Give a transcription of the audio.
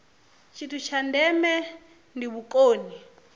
tshithu tsha ndeme ndi vhukoni